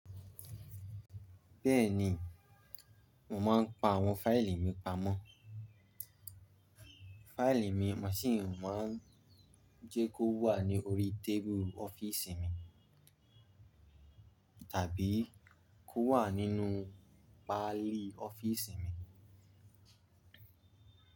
Bẹ́ẹ̀ni, mo máa ń pa àwọn fáìlì mi pamọ́. Fáìlì mi, mo sì máa ń jẹ́ kó wà ní orí tébùrù ọ́fíìsì mi tàbí kó wà nínú pálí ọ́fíìsì mi.